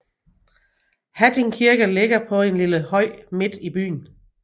Hatting Kirke ligger på en lille høj midt i byen